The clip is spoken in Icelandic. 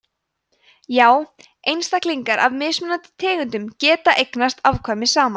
já einstaklingar af mismunandi tegundum geta eignast afkvæmi saman